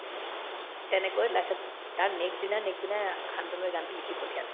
তেনেকৈ তাৰ next দিনাৰ next দিনা শান্তনুয়ে গানতো লিখি পঠিয়ালে